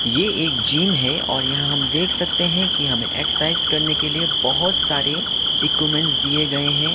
ये एक जिम है और यहां हम देख सकते है की हमे एक्सरसाइज करने के लिए बहोत सारे इक्विपमेंट्स दिये गये है।